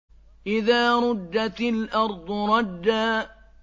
إِذَا رُجَّتِ الْأَرْضُ رَجًّا